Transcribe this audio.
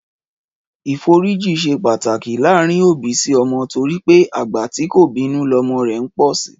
Ìforíji ṣe pàtàki láàárín òbí sí ọmọ torí pé àgbà tí kò bínú lọmọ rẹ̀ ń pọ̀ si